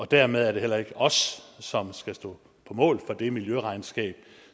dermed er det heller ikke os som skal stå på mål for det miljøregnskab